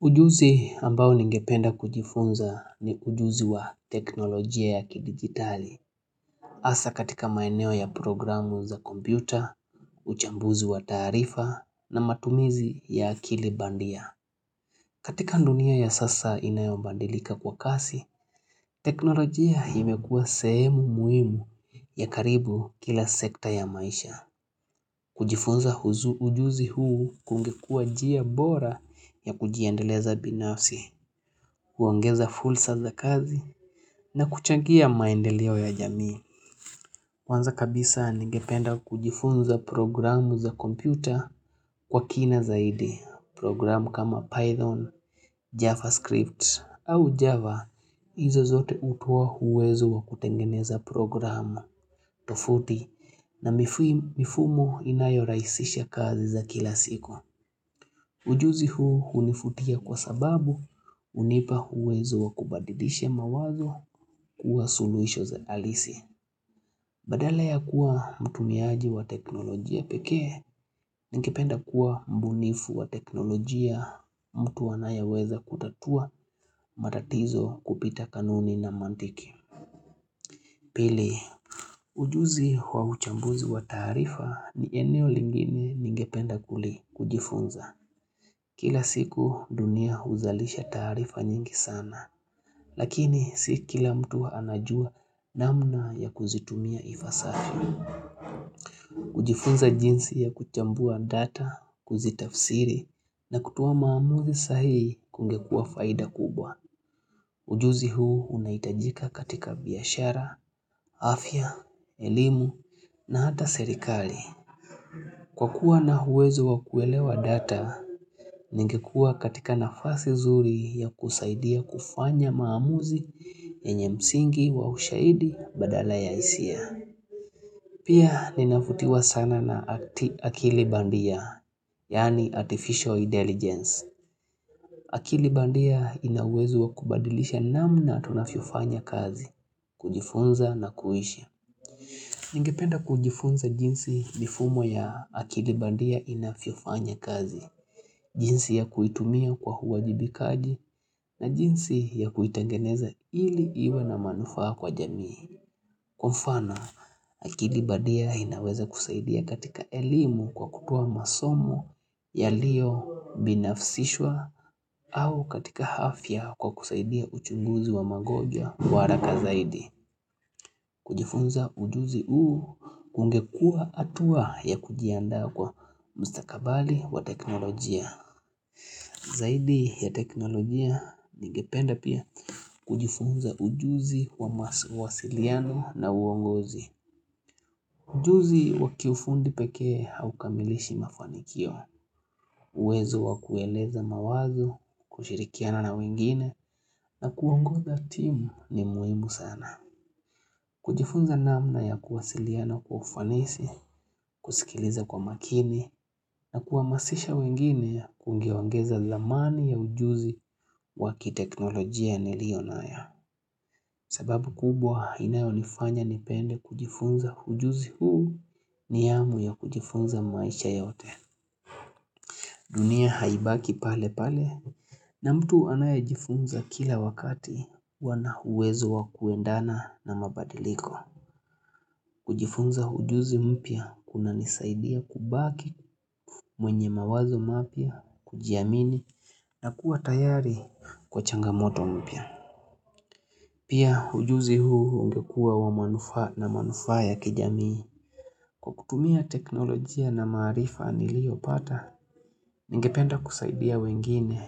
Ujuzi ambao ningependa kujifunza ni ujuzi wa teknolojia ya kidigitali. Asa katika maeneo ya programu za kompyuta, uchambuzi wa tarifa na matumizi ya akili bandia. Katika ndunia ya sasa inayombandilika kwa kasi, teknolojia imekua sehemu muhimu ya karibu kila sekta ya maisha. Kujifunza ujuzi huu kungekua njia bora ya kujiendeleza binafsi, kuongeza fulsa za kazi na kuchangia maendeleo ya jamii. Kwanza kabisa ningependa kujifunza programu za kompyuta kwa kina zaidi. Programu kama Python, JavaScript au Java, hizo zote utuwa huwezu wa kutengeneza programu. Tofauti na mifumo inayo rahisisha kazi za kila siku. Ujuzi huu hunifutia kwa sababu hunipa uwezo wa kubadidisha mawazo kuwa suluhisho za halisi. Badala ya kuwa mtumiaji wa teknolojia pekee, ningependa kuwa mbunifu wa teknolojia mtu anayeweza kutatua matatizo kupita kanuni na mantiki. Pili, ujuzi wa uchambuzi wa taarifa ni eneo lingine ningependa kuli kujifunza. Kila siku dunia huzalisha taarifa nyingi sana, lakini si kila mtu anajua namna ya kuzitumia ipasavyo. Kujifunza jinsi ya kuchambua data, kuzitafsiri na kutoa maamuzi sahihi kungekua faida kubwa. Ujuzi huu unaitajika katika biashara, afya, elimu na hata serikali. Kwa kuwa na huwezo wa kuelewa data, ningekua katika nafasi zuri ya kusaidia kufanya maamuzi yenye msingi wa ushaidi badala ya hisia. Pia ninafutiwa sana na akili bandia, yaani Artificial Intelligence. Akili bandia ina uwezo wa kubadilisha namna tunavyofanya kazi, kujifunza na kuhishi. Ningependa kujifunza jinsi mifumo ya akili bandia inavyofanya kazi, jinsi ya kuitumia kwa uwajibikaji na jinsi ya kuitengeneza ili iwe na manufaa kwa jamii. Kwa mfano, akili badia inaweza kusaidia katika elimu kwa kutoa masomu yaliyo binafsishwa au katika hafya kwa kusaidia uchunguzi wa magonjwa. Kwa haraka zaidi, kujifunza ujuzi huu kungekua hatua ya kujiandaa kwa mstakabali wa teknolojia. Zaidi ya teknolojia, ningependa pia kujifunza ujuzi wa masiliano na uongozi. Ujuzi wakiufundi pekee haukamilishi mafanikio, uwezo wakueleza mawazo, kushirikiana na wengine na kuongoza timu ni muhimu sana. Kujifunza namna ya kuwasiliana kufanisi, kusikiliza kwa makini na kuamasisha wengine kungewangeza dhamani ya ujuzi wa kiteknolojia nilio nayo. Sababu kubwa inayonifanya nipende kujifunza hujuzi huu ni amu ya kujifunza maisha yote. Dunia haibaki pale pale na mtu anayejifunza kila wakati huwa na uwezo wa kuendana na mabadiliko. Kujifunza hujuzi mpya kunanisaidia kubaki mwenye mawazo mapya, kujiamini na kuwa tayari kwa changamoto mpya. Pia ujuzi huu ungekua wa manufaa na manufaa ya kijamii. Kwa kutumia teknolojia na maarifa niliopata, ningependa kusaidia wengine.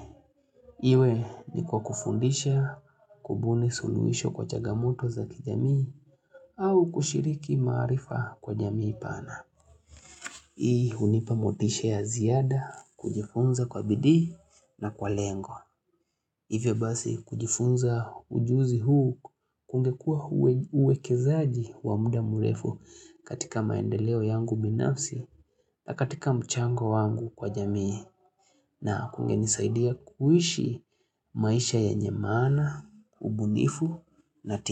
Iwe ni kwa kufundisha, kubuni suluisho kwa chagamoto za kijamii, au kushiriki maarifa kwa jamii pana. Hii hunipa motisha ya ziada kujifunza kwa bidii na kwa lengo. Hivyo basi kujifunza ujuzi huu kungekua uwekezaji wa muda murefu katika maendeleo yangu binafsi na katika mchango wangu kwa jamii na kungenisaidia kuishi maisha yenye maana, ubunifu na.